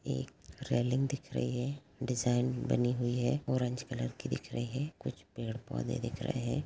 एक रेलिंग दिख रही है डिजाइन बनी हुई है ऑरेंज कलर की दिख रही है कुछ पेड़-पौधे दिख रहे हैं ।